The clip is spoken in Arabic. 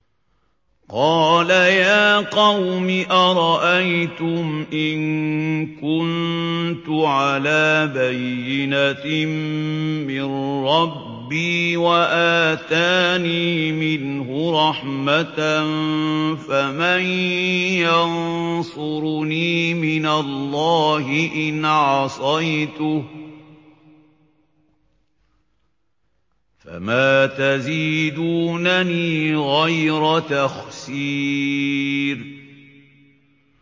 قَالَ يَا قَوْمِ أَرَأَيْتُمْ إِن كُنتُ عَلَىٰ بَيِّنَةٍ مِّن رَّبِّي وَآتَانِي مِنْهُ رَحْمَةً فَمَن يَنصُرُنِي مِنَ اللَّهِ إِنْ عَصَيْتُهُ ۖ فَمَا تَزِيدُونَنِي غَيْرَ تَخْسِيرٍ